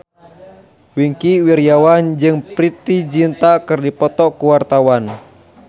Wingky Wiryawan jeung Preity Zinta keur dipoto ku wartawan